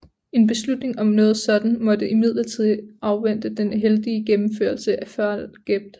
En beslutning om noget sådant måtte imidlertid afvente den heldige gennemførelse af Fall Gelb